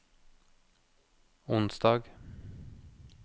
onsdag